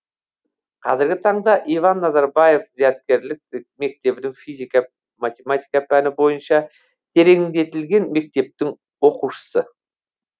қазіргі таңда иван назарбаев зияткерлік мектебінің физика математика пәні бойынша тереңдетілген мектептің оқушысы